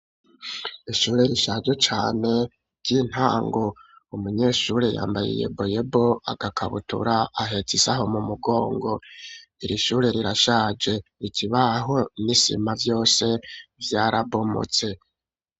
Ishure rishaje cane ry'intango. Umunyeshuri yambaye iyeboyebo, agakabutura, ahetse isaho mu mugongo. Iri shure rirashaje, ikibaho n'isima vyose vyarabomotse.